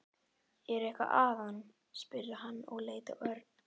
Er eitthvað að honum? spurði hann og leit á Örn.